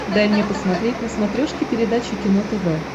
дай мне посмотреть на смотрешке передачу кино тв